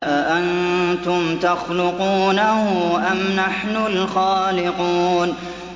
أَأَنتُمْ تَخْلُقُونَهُ أَمْ نَحْنُ الْخَالِقُونَ